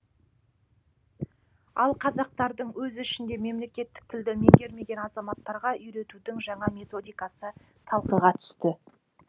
ал қазақтардың өз ішінде мемлекеттік тілді меңгермеген азаматтарға үйретудің жаңа методикасы талқыға түсті